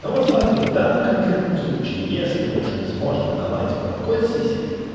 ну вот смотри в данном конкретном случае если мужик сможет давать молоко из сисек